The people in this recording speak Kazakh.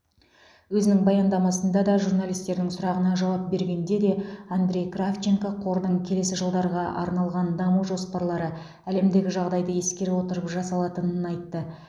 өзінің баяндамасында да журналистердің сұрағына жауап бергенде де андрей кравченко қордың келесі жылдарға арналған даму жоспарлары әлемдегі жағдайы ескере отырып жасалатынын айтты